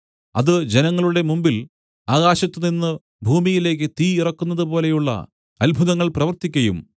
അത് ജനങ്ങളുടെ മുമ്പിൽ ആകാശത്തുനിന്ന് ഭൂമിയിലേക്കു തീ ഇറക്കുന്നതുപോലെയുള്ള അത്ഭുതങ്ങൾ പ്രവർത്തിക്കയും